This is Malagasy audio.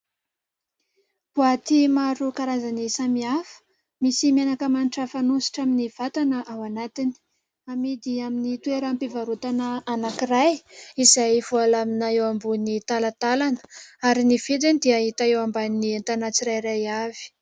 Boaty maro karazany samihafa. Misy menaka manitra fanosotra amin'ny vatana ao anatiny. Amidy amin'ny toeram-pivarotana anankiray izay voalamina eo ambony talatalana ary ny vidiny dia hita eo amban'ny entana tsirairay avy.